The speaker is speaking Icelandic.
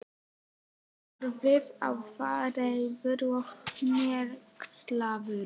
Horfði á þá, reiður og hneykslaður.